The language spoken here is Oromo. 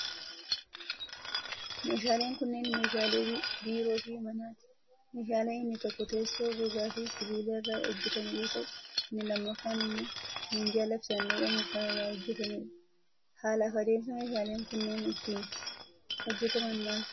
Meeshaaleen kunneen, meeshaalee biiroo fi manaati. Meeshaan inni tokko teessoo gogaa fi sibiila irraa hojjatame yoo ta'u, inni lammaffaan immoo minjaala fi saanduqa muka irraa hojjatamee dha. Haala fi adeemsa meeshaaleen kunneen ittiin hojjataman maal faa dha?